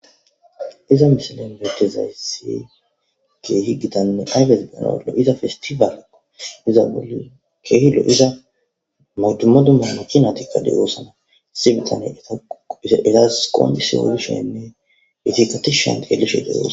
iza misilen betezayssi keehi gitanne aydes denollo iza festifaalakko iza bulu kehilo iza modumodumma makinatikka deyoosana si bitane etass qoondis odishenne etikatishen geelishe deoa